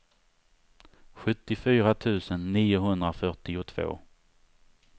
sjuttiofyra tusen niohundrafyrtiotvå